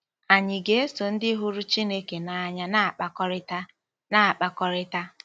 Ànyị ga-eso ndị hụrụ Chineke n’anya na-akpakọrịta? na-akpakọrịta?